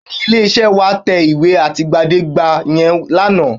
Bẹ́ẹ̀ni, ilé-iṣẹ́ wa tẹ ìwé àtìgbàdégbà yẹn lánàá?